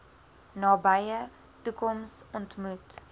nabye toekoms ontmoet